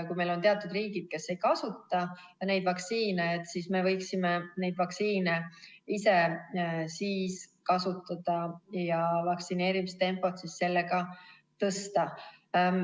Kui on riigid, kes ei kasuta neid vaktsiine, siis me võiksime neid vaktsiine ise kasutada ja vaktsineerimistempot sellega tõsta.